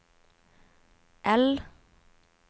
L